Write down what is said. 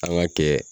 An ka kɛ